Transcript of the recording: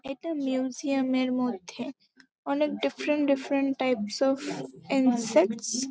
একটা মিউজিয়াম এর মধ্যে অনেক different different types of insects.